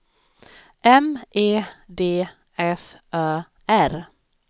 M E D F Ö R